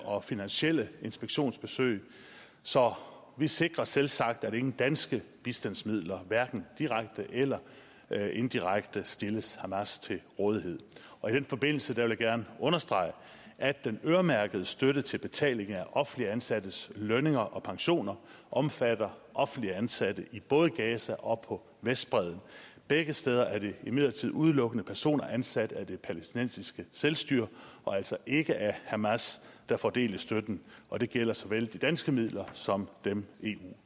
og finansielle inspektionsbesøg så vi sikrer selvsagt at ingen danske bistandsmidler hverken direkte eller eller indirekte stilles hamas til rådighed og i den forbindelse vil jeg gerne understrege at den øremærkede støtte til betaling af offentligt ansattes lønninger og pensioner omfatter offentligt ansatte i både gaza og på vestbredden begge steder er det imidlertid udelukkende personer ansat af det palæstinensiske selvstyre og altså ikke af hamas der får del i støtten og det gælder såvel de danske midler som dem eu